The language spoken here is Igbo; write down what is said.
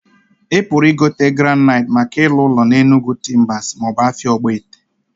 I puru igote graniitee maka ilu ulo na Enugu Timbers ma obu afia Ogbete?